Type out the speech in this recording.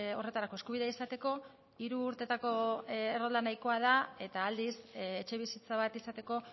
horretarako eskubidea izateko hiru urtetako errolda nahikoa da eta aldiz etxebizitza bat izateko